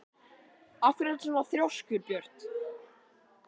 Af hverju ertu svona þrjóskur, Björt?